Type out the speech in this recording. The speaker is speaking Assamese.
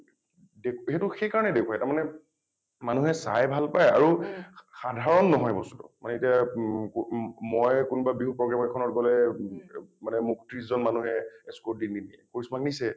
দে সেইটো সেই কাৰণে দেখুৱাই মানে মানুহে চাই ভাল পায় আৰু সাধাৰণ নহয় বস্তুটো । মানে এতিয়া মম মই কোনবা বিহু program এখনত গলে ম মানে মোক ত্ৰিশ জন মানুহে escort দি নিনিয়ে কৃষ্ণ ক নিছে।